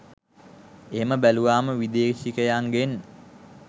එහෙම බැලුවම විදෙශිකයෙක්ගෙන්